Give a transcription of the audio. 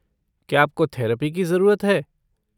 क्या आपको थेरपी की जरूरत है?